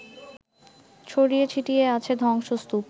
ছড়িয়ে ছিটিয়ে আছে ধ্বংসস্তুপ